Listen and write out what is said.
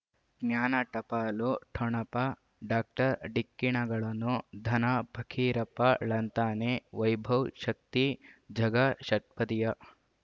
ಜ್ಞಾನ ಟಪಾಲು ಠೊಣಪ ಡಾಕ್ಟರ್ ಢಿಕ್ಕಿ ಣಗಳನು ಧನ ಫಕೀರಪ್ಪ ಳಂತಾನೆ ವೈಭವ್ ಶಕ್ತಿ ಝಗಾ ಷಟ್ಪದಿಯ